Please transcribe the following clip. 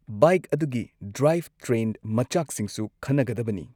Bike ꯑꯗꯨꯒꯤ drivetrain ꯃꯆꯥꯛꯁꯤꯡꯁꯨ ꯈꯟꯅꯒꯗꯕꯅꯤ꯫